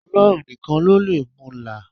Ọlọ́run nìkan ló lè mu là á.